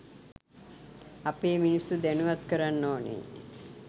අපේ මිනිස්සු දැනුවත් කරන්න ඕනේ